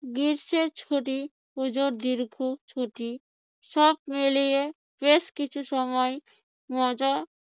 গ্রীষ্মের ছুটি পূজোর দীর্ঘ ছুটি সব মিলিয়ে বেশ কিছু সময় মজা